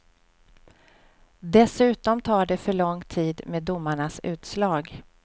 Dessutom tar det för lång tid med domarnas utslag.